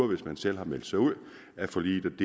hvis man selv har meldt sig ud af forliget